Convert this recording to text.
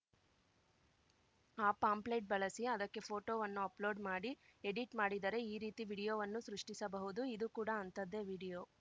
ಆ ಪಾಂಪ್ಲೇಟ್‌ ಬಳಸಿ ಅದಕ್ಕೆ ಫೋಟೋವನ್ನು ಅಪ್‌ಲೋಡ್‌ ಮಾಡಿ ಎಡಿಟ್‌ ಮಾಡಿದರೆ ಈ ರೀತಿ ವಿಡಿಯೋವನ್ನು ಸೃಷ್ಟಿಸಬಹುದು ಇದೂ ಕೂಡ ಅಂಥದ್ದೇ ವಿಡಿಯೋ